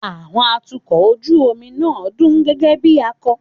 Àwọn atukọ̀ ojú omi náà dún gẹ́gẹ́ bí akọ́